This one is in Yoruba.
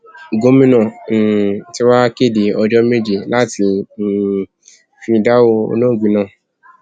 gomina um tí wàá kéde ọjọ méje láti um fi dárò olóògbé náà